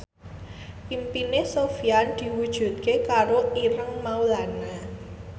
impine Sofyan diwujudke karo Ireng Maulana